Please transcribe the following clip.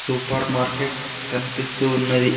Super market కనిపిస్తూ ఉన్నది.